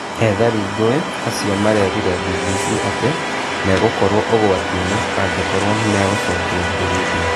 Ethari ngũĩ acio marerire BBC atĩ megũkorwo ũgwatinĩ angĩ korwo nĩ megũcokio Burundi